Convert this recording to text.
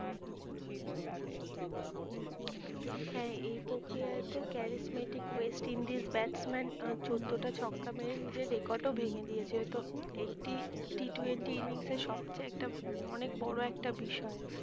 হ্যাঁ এই প্রক্রিয়ায় তো charismatic westindies batsman চোদ্দটা ছক্কা মেরে নিজের record ও ভেঙে দিয়েছে তো একটি T twenty innings এর সবচেয়ে একটা অনেক বড়ো একটা বিষয়